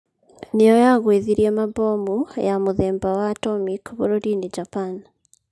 Nĩyo yagwĩthirie mabomu ya mũthemba wa atomic bũrũrinĩ Japan.